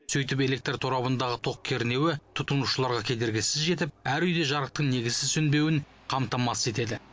сөйтіп электр торабындағы тоқ кернеуі тұтынушыларға кедергісіз жетіп әр үйде жарықтың негізсіз сөнбеуін қамтамасыз етеді